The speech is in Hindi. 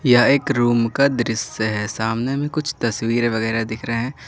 यह एक रूम का दृश्य है सामने में कुछ तस्वीरें वगैरा दिख रहे हैं।